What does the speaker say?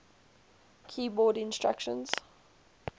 keyboard instruments